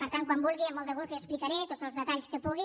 per tant quan vulgui amb molt de gust li explicaré tots els detalls que pugui